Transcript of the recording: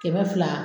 Kɛmɛ fila